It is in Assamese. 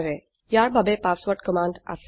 ইয়াৰ বাবে পাছৱৰ্ৰদ কমান্ড আছে